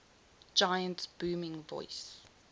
giant's booming voice